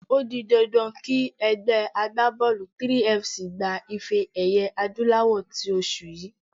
O di dandan kí ẹgbẹ́ agbábọ́ọ̀lù 3FC gba ife-ẹ̀yẹ adúláwọ̀ tí oṣù yìí.